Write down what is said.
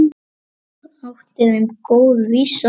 Þetta þótti þeim góð vísa.